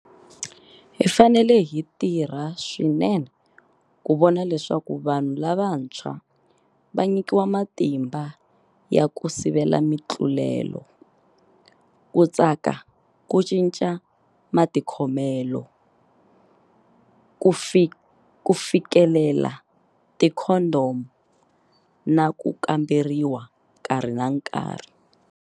Hi fanele hi tirha swinene ku vona leswaku vanhu lavantshwa va nyikiwa matimba ya ku sivela mitlulelo, ku katsa ku cinca matikhomelo, ku fikelela tikhondhomu na ku kamberiwa nkarhi na nkarhi.